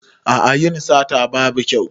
A'a yin sata babu kyau.